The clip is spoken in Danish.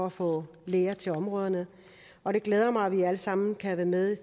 at få læger til områder og det glæder mig at vi alle sammen kan være med